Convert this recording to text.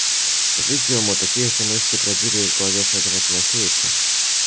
по-видимому такие же мысли бродили и в голове федора тимофеевича